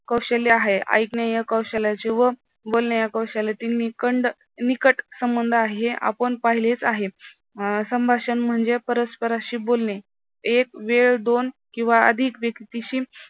कौशल्य आहे. ऐकणे या कौशल्याची व बोलणे या कौशल्यातील निकट संबंध आहे. आपण पाहिलेच आहे अं संभाषण म्हणजे परस्परांशी बोलणे एक वेळ दोन किंवा अधिक व्यक्तीशी